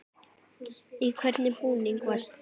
Í hvernig búningi varst þú?